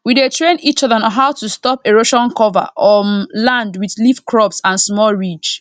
we dey train each other on how to stop erosion cover um land with leaf crops and small ridge